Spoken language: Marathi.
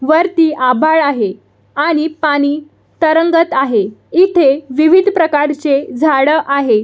वरती आभाळ आहे आणि पाणी तरंगत आहे इथे विविध प्रकारचे झाडे आहे.